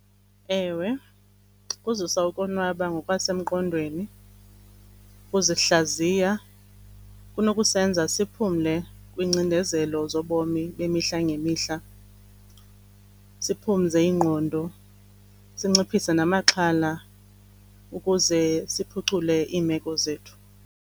Ewe, kuzisa ukonwaba ngokwasengqondweni. Ukuzihlaziya kunokusebenza siphumle kwiingcindezelo zobomi bemihla ngemihla, siphumze ingqondo, sinciphise namaxhala ukuze siphucule iimeko zethu.